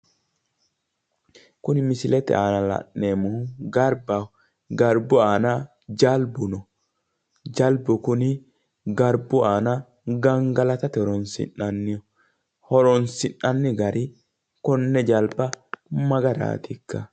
Kuni misilete aana la'nemohu garibbaho garibbu aana jalibu no jalibu kuni garbu aana gangalaatate horonsi'naniho horonsi'nani gari konne jaliba ma garatika